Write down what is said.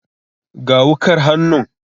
Ga wukar hannun.